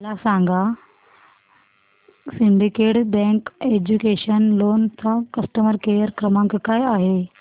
मला सांगा syndicate bank educational loan चा कस्टमर केअर क्रमांक काय आहे